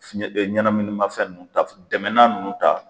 Fiɲɛ e ɲɛnɛminimafɛn nunnu ta dɛmɛnan nunnu ta